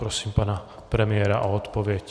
Prosím pana premiéra o odpověď.